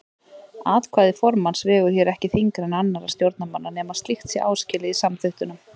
Atkvæði formanns vegur hér ekki þyngra en annarra stjórnarmanna nema slíkt sé áskilið í samþykktunum.